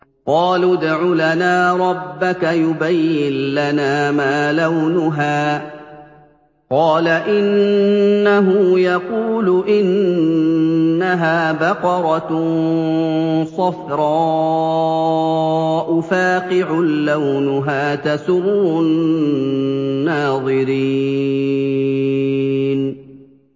قَالُوا ادْعُ لَنَا رَبَّكَ يُبَيِّن لَّنَا مَا لَوْنُهَا ۚ قَالَ إِنَّهُ يَقُولُ إِنَّهَا بَقَرَةٌ صَفْرَاءُ فَاقِعٌ لَّوْنُهَا تَسُرُّ النَّاظِرِينَ